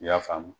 I y'a faamu